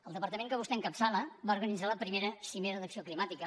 el departament que vostè encapçala va organitzar la primera cimera d’acció climàtica